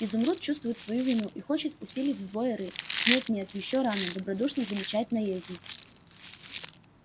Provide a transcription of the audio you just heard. изумруд чувствует свою вину и хочет усилить вдвое рысь нет нет ещё рано добродушно замечает наездник